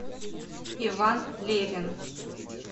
иван левин